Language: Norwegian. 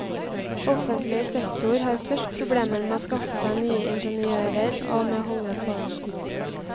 Offentlig sektor har størst problemer med å skaffe seg nye ingeniører og med å holde på dem.